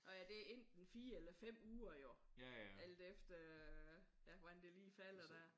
Nå ja det er enten 4 eller 5 uger jo alt efter ja hvordan det lige falder der